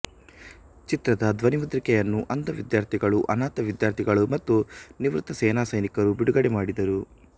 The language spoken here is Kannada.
ಚಿತ್ರದ ಧ್ವನಿಮುದ್ರಿಕೆಯನ್ನು ಅಂಧ ವಿದ್ಯಾರ್ಥಿಗಳು ಅನಾಥ ವಿದ್ಯಾರ್ಥಿಗಳು ಮತ್ತು ನಿವೃತ್ತ ಸೇನಾ ಸೈನಿಕರು ಬಿಡುಗಡೆ ಮಾಡಿದರು